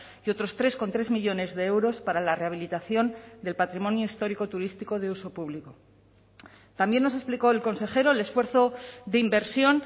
y otros tres coma tres millónes de euros para la rehabilitación del patrimonio histórico turístico de uso público también nos explicó el consejero el esfuerzo de inversión